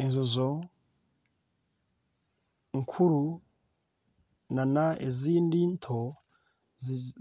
Enjojo nkuru n'ezindi nto,